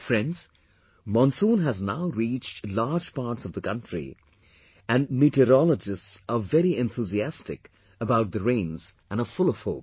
Friends, Monsoon has now reached large parts of the countryand meteorologists are very enthusiastic about the rains and are full of hope